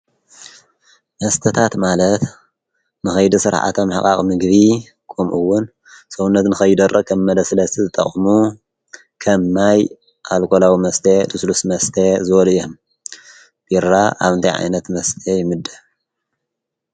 መስተታት ማለት ንኸይዲ ስርዓተ ምሕቓቕ ምግቢ ከምኡ እውን ሰውነት ንከይደርቕ ከም መለስለሲ ዝጠቅሙ ከም ማይ ፣ኣልኮላዊ መስተ ፣ልስሉስ መስተ ዝበሉ እዮም። ቢራ ኣብ እንታይ ዓይነት መስተ ይምደብ?